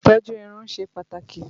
Ìtọ́jú irun ṣe pàtàkì